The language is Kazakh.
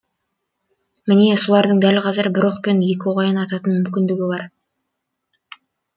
міне солардың дәл қазір бір оқпен екі қоян ататын мүмкіндігі бар